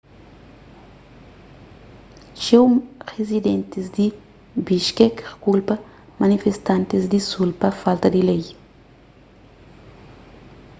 txeu rizidentis di bishkek kulpa manifestantis di sul pa falta di lei